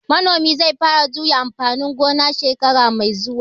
Manomin zai fara juya amfani gona shekara mai zuwa